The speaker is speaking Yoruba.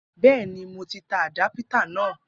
Bẹẹni, mo ti tà àdápítà naa